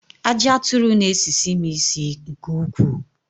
Aji aturu n'esisi m isi nke ukwuu